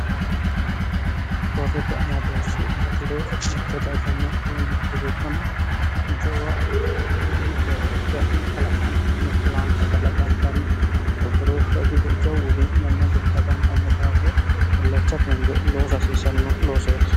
hoorrete amadooshi gatiro mitte daaganno woyi mitte gobbanno jawgk'n kalaqantanno laanke kalaqantanno gorqorooshsho jiro jawuuri mommoldu kalaqantanno daafoo illacha tunge loo a hasiisanno loosooti